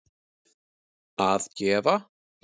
að gefa